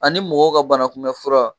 Ani mɔgɔw ka banakunbɛ fura